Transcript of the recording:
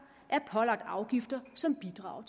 er pålagt afgifter som bidrager